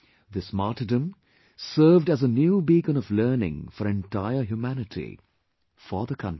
This martyrdom served as a new beacon of learning for entire humanity; for the country